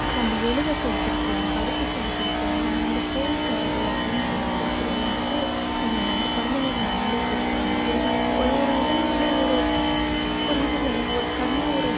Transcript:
நம்ம எழுத சொல்லிக் கொடுக்கலாம் படிக்க சொல்லிக் கொடுக்கலாம் ஆனா வந்து phone பாரு அப்படின்னு சொல்லிக் கொடுக்கிறது வந்துட்டு அஹ் நம்ம குழந்தைங்களுக்கு நாமளே கெடுக்கிற மாதிரி அது வந்~ ஒரு ஒரு உடல்நிலை ஒரு ஒரு இது தானே ஒரு கண்ணு ஒரு